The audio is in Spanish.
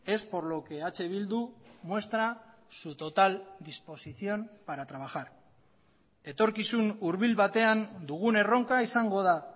es por lo que eh bildu muestra su total disposición para trabajar etorkizunhurbil batean dugun erronka izango da